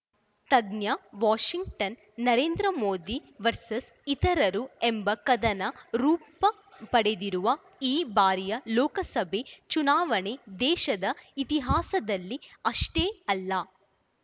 ತಜ್ಞ Washington Narendra Modi versus ಇತರರು ಎಂಬ ಕದನ ರೂಪ ಪಡೆದಿರುವ ಈ ಬಾರಿಯ ಲೋಕಸಭೆ ಚುನಾವಣೆ ದೇಶದ ಇತಿಹಾಸದಲ್ಲಿ ಅಷ್ಟೇ ಅಲ್ಲ